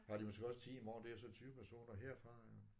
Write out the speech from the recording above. Har de måske også 10 i morgen det er så 20 personer herfra